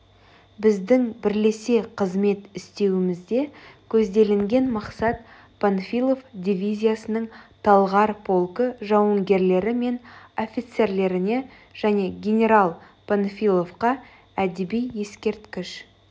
біздің бірлесе қызмет істеуімізде көзделінген мақсат панфилов дивизиясының талғар полкі жауынгерлері мен офицерлеріне және генерал панфиловқа әдеби ескерткіш